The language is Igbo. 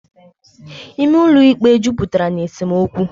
Ime ụlọ ikpe jupụtara na esemokwu.